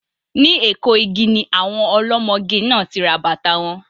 Ní Eko igi ni àwọn ọlọ́mọge náà ti rà bàtàa wọn.